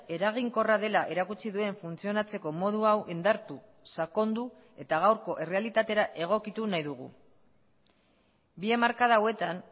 eraginkorra dela erakutsi duen funtzionatzeko modu hau indartu sakondu eta gaurko errealitatera egokitu nahi dugu bi hamarkada hauetan